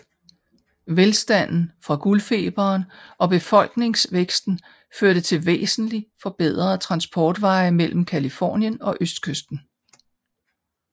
Velstanden fra guldfeberen og befolkningsvæksten førte til væsentligt forbedrede transportveje mellem Californien og østkysten